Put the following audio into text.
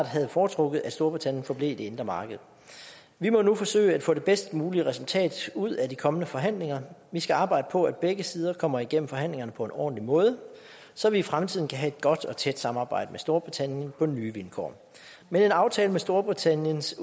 havde foretrukket at storbritannien forblev i det indre marked vi må nu forsøge at få det bedst mulige resultat ud af de kommende forhandlinger og vi skal arbejde på at begge sider kommer igennem forhandlingerne på en ordentlig måde så vi i fremtiden kan have et godt og tæt samarbejde med storbritannien på nye vilkår men en aftale om storbritanniens